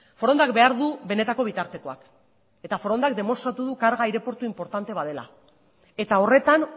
forondak behar du benetako bitartekoak eta forondak demostratu du karga aireportu inportante bat dela eta horretan